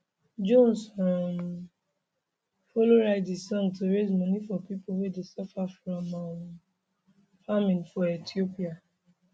jones um followwrite di song to raise money for pipo wey dey suffer from um famine for ethiopia